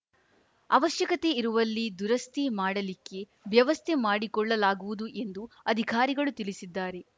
ಅವಶ್ಯಕತೆ ಇರುವಲ್ಲಿ ದುರಸ್ತಿ ಮಾಡಲಿಕ್ಕೆ ವ್ಯವಸ್ಥೆ ಮಾಡಿಕೊಳ್ಳಲಾಗುವುದು ಎಂದು ಅಧಿಕಾರಿಗಳು ತಿಳಿಸಿದ್ದಾರೆ